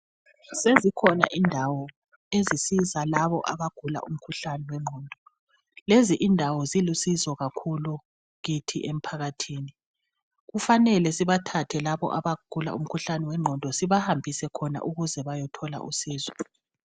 Sezikhona indawo ezinceda labo abagula umkhuhlane wengqondo lezindawo ziluncedo kakhulu kithi emphakathini kufanele sibathathe labo abagula umkhuhlane wengqondo sibahambise khona ukuze bayethola uncedo.